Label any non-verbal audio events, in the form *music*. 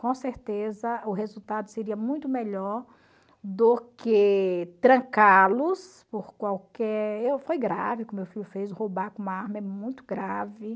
com certeza o resultado seria muito melhor do que trancá-los por qualquer... *unintelligible* Foi grave o que meu filho fez, roubar com uma arma é muito grave.